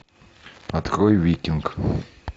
открой викинг